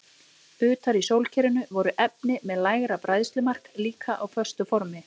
Utar í sólkerfinu voru efni með lægra bræðslumark líka á föstu formi.